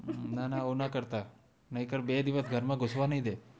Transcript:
ના ના આવું ના કરતા નઈતર બે દિવશ ઘર માં ગુશવા નય દે